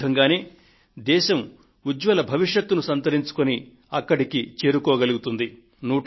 ఈ విధంగానే దేశం ఉజ్జ్వల భవిష్యత్తును రూపొందించుకొని అక్కడికి చేరుకోగలుగుతుంది